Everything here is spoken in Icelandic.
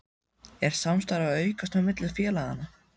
Er samstarfið að aukast á milli félaganna?